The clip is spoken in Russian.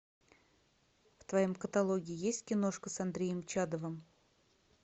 в твоем каталоге есть киношка с андреем чадовым